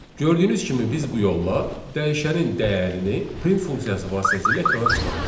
Gördüyünüz kimi biz bu yolla dəyişənin dəyərini print funksiyası vasitəsilə ekrana çıxartdıq.